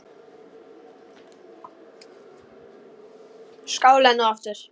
Skál enn og aftur!